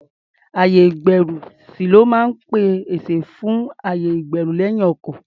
Ayè-ìgbẹ́rùsí ló máa ń pèsè àyè fún ẹrù lẹ́yìn ọkọ̀.